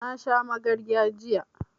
Na sha magarya jiya